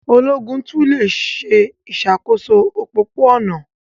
Ológun tún le se ìsàkóso òpópó-ònà